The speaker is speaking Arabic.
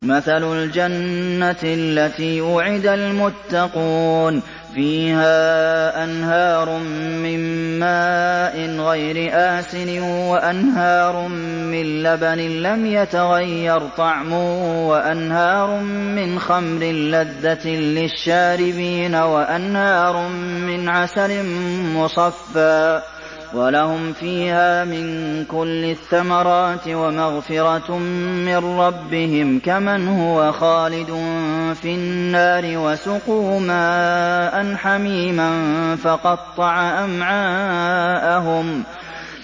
مَّثَلُ الْجَنَّةِ الَّتِي وُعِدَ الْمُتَّقُونَ ۖ فِيهَا أَنْهَارٌ مِّن مَّاءٍ غَيْرِ آسِنٍ وَأَنْهَارٌ مِّن لَّبَنٍ لَّمْ يَتَغَيَّرْ طَعْمُهُ وَأَنْهَارٌ مِّنْ خَمْرٍ لَّذَّةٍ لِّلشَّارِبِينَ وَأَنْهَارٌ مِّنْ عَسَلٍ مُّصَفًّى ۖ وَلَهُمْ فِيهَا مِن كُلِّ الثَّمَرَاتِ وَمَغْفِرَةٌ مِّن رَّبِّهِمْ ۖ كَمَنْ هُوَ خَالِدٌ فِي النَّارِ وَسُقُوا مَاءً حَمِيمًا فَقَطَّعَ أَمْعَاءَهُمْ